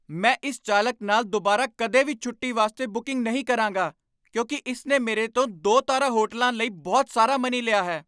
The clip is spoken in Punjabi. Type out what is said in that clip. ਮੈਂ ਇਸ ਚਾਲਕ ਨਾਲ ਦੁਬਾਰਾ ਕਦੇ ਵੀ ਛੋਟੀ ਵਾਸਤੇ ਬੂਕੀੰਗ ਨਹੀਂ ਕਰਾਂਗਾ ਕਿਉਂਕਿ ਇਸ ਨੇ ਮੇਰੇ ਤੋਂ ਦੋ ਤਾਰਾ ਹੋਟਲਾਂ ਲਈ ਬਹੁਤ ਸਾਰਾ ਮਨੀ ਲਿਆ ਹੈ